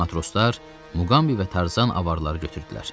Matroslar Muqambi və Tarzan avarları götürdülər.